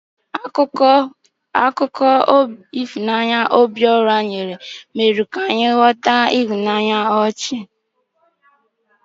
Akụkọ ihunanya Obiora nyere mere ka Ifeoma mụmụọ ọnụ ọchị.